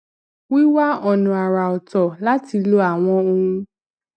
wíwá ònà àrà oto láti lo àwọn ohun